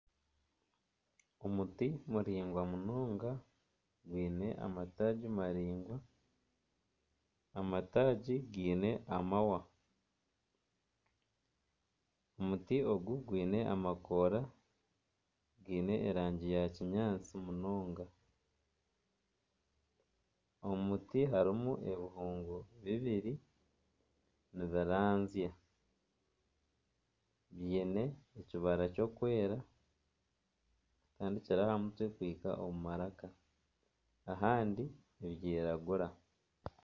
Omuti muringwa munonga gwine amataagi maringwa. Amataagi geine amahwa. Omuti ogu gwine amakoora geine erangi ya kinyaatsi munonga. Omu muti harimu ebihungu bibiri nibiranzya. Biine ekibara kirikwera kutandiikira aha mutwe kuhika omu maraka. Ahandi nibyiragura.